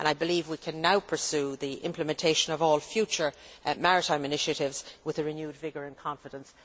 I believe that we can now pursue the implementation of all future maritime initiatives with renewed vigour and confidence.